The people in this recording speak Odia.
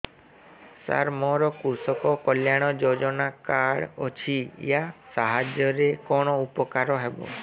ସାର ମୋର କୃଷକ କଲ୍ୟାଣ ଯୋଜନା କାର୍ଡ ଅଛି ୟା ସାହାଯ୍ୟ ରେ କଣ ଉପକାର ହେବ